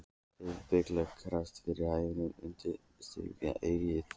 hrópaði Bylgja, krassaði yfir hænuna og undirstrikaði eggið.